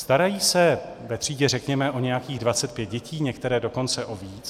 Starají se ve třídě řekněme o nějakých 25 dětí, některé dokonce o víc.